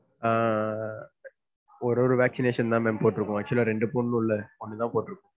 ஆஹ் ஒவ்வொரு vaccination தான் ma'am போட்ருக்கோம். actual ஆ ரெண்டு போடணும்ல ஒன்னு தான் போட்டிருக்கோம்.